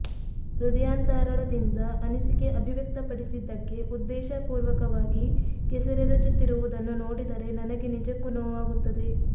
ಹೃದಯಾಂತರಾಳದಿಂದ ಅನಿಸಿಕೆ ಅಭಿವ್ಯಕ್ತಪಡಿಸಿದ್ದಕ್ಕೆ ಉದ್ದೇಶಪೂರ್ವಕವಾಗಿ ಕೆಸರೆರಚುತ್ತಿರುವುದನ್ನು ನೋಡಿದರೆ ನನಗೆ ನಿಜಕ್ಕೂ ನೋವಾಗುತ್ತದೆ